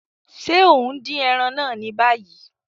Ṣe o n din ẹran naa ni bayi?